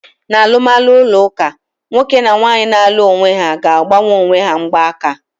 N'alụmalụ ụlọ ụka, nwoke na nwaanyị na-alụ onwe ha ga-agbanye onwe ha mgba aka.